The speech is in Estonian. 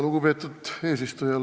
Lugupeetud eesistuja!